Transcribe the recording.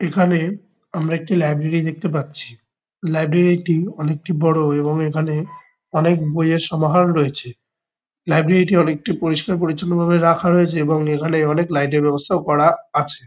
এখানে আমরা একটি লাইব্রেরি দেখতে পাচ্ছি। লাইব্রেরি -টি অনেকটি বড়ো এবং এখানে অনেক বইয়ের সমাহার রয়েছে। লাইব্রেরি -টি অনেকটি পরিষ্কার-পরিচ্ছন্নভাবে রাখা রয়েছে এবং এখানে অনেক লাইট -এর ব্যবস্থাও করা আছে।